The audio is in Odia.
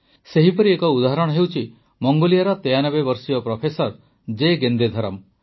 ସେହିପରି ଏକ ଉଦାହରଣ ହେଉଛି ମଙ୍ଗୋଲିଆର ୯୩ ବର୍ଷର ପ୍ରଫେସର ଜେ ଗେନ୍ଦେଧରମ୍